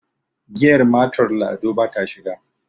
giyar mator lado ba ta shiga